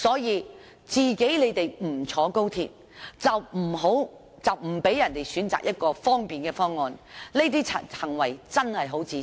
他們不乘坐高鐵就不讓別人選擇一個便利的方案，這種行為真的很自私。